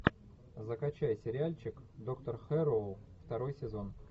закачай сериальчик доктор хэрроу второй сезон